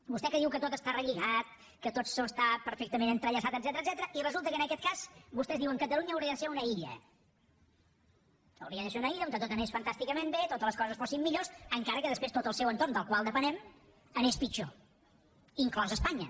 vostè que diu que tot està relligat que tot està perfectament entrellaçat etcètera i resulta que en aquest cas vostès diuen catalunya hauria de ser una illa hauria de ser una illa on tot anés fantàsticament bé on totes les coses fossin millors encara que després tot el seu entorn del qual depenem anés pitjor inclosa espanya